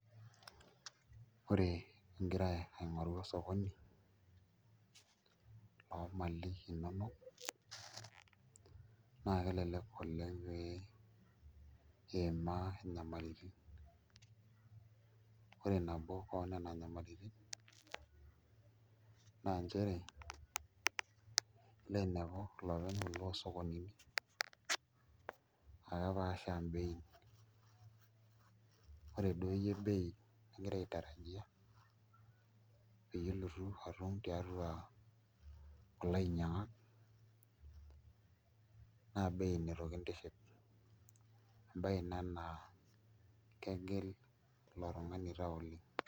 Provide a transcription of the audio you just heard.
Ore ingira aing'oru osokoni oomali inonok naa kelelek oleng' pee iimaa inyamalitin, ore nabo oo nena nyamalitin naa nchere ilo ainepu iloopeny kulo sokonini aa kepaasha bei[s] ore duo iyie bei nigira aitarajia peyie ilotu atum tiatua kulo ainyiang'ak naa bei nitu kintiship embaye ina naa kegil ilo tung'ani tau oleng'.